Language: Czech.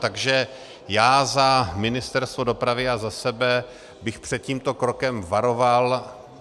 Takže já za Ministerstvo dopravy a za sebe bych před tímto krokem varoval.